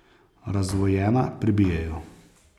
Razdvojena, pribijejo.